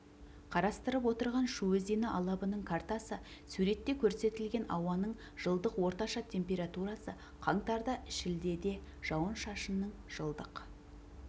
қарастырып отырған шу өзені алабының картасы суретте көрсетілген ауаның жылдық орташа температурасы қаңтарда шілдеде жауын-шашынның жылдық